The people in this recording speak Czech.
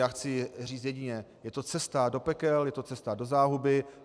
Já chci říct jediné - je to cesta do pekel, je to cesta do záhuby.